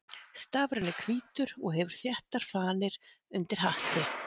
Stafurinn er hvítur og hefur þéttar fanir undir hatti.